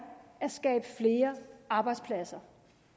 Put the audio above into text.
at skabe flere arbejdspladser